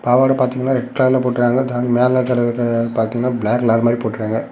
பாவட பாத்திங்கனா ரெட் கலர்ல போட்டிருக்காங்க பிளாக் கலர்ல போட்டிருக்காங்க.